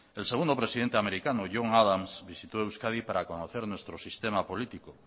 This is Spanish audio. el segundo presidente americano john adams visitó euskadi para conocer nuestro sistema político